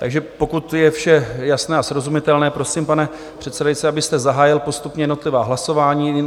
Takže pokud je vše jasné a srozumitelné, prosím, pane předsedající, abyste zahájil postupně jednotlivá hlasování.